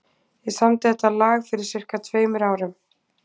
Ég samdi þetta lag fyrir sirka tveimur árum.